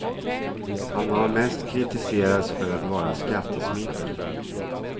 Han har mest kritiserats för att vara skattesmitare.